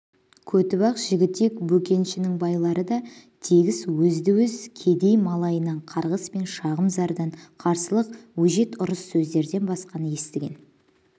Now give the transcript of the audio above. көтібақ жігітек бөкеншінің байларды да тегіс өзді-өз кедей-малайынан қарғыс пен шағым зардан қарсылық өжет ұрыс сөздерден басқаны естіген